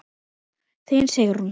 Þín, Sigrún.